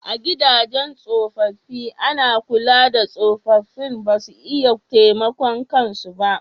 A gidajen tsofaffi ana kula da tsofaffin ba su iya taimakon kan su ba